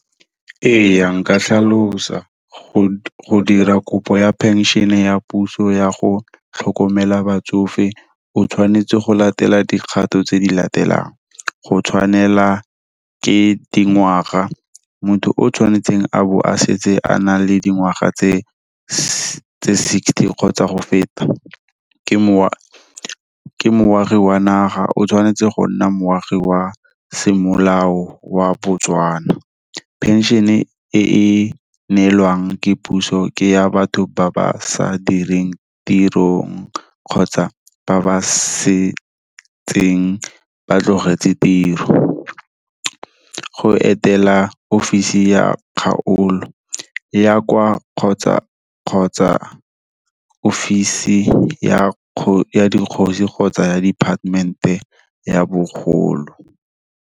E ya, nka tlhalosa, go dira kopo ya penšhene ya puso ya go tlhokomela batsofe, o tshwanetse go latela dikgato tse di latelang, go tshwanela ke dingwaga. Motho o tshwanetseng a bo a setse a na le dingwaga tse sixty kgotsa go feta, ke moagi wa naga o tshwanetse go nna moagi wa semolao wa Botswana. Pension-e, e e neelwang ke puso, ke ya batho ba ba sa direng tirong, kgotsa ba ba setseng ba tlogetse tiro. Go etela office ya kgaolo, ya kwa kgotsa office ya dikgosi kgotsa ya department-e ya bogolo.